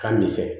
K'a misɛn